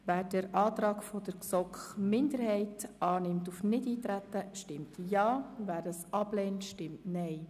Wer den Antrag der GSoK-Minderheit auf Nichteintreten annimmt, stimmt Ja, wer dies ablehnt, stimmt Nein.